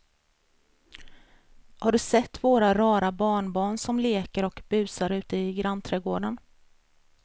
Har du sett våra rara barnbarn som leker och busar ute i grannträdgården!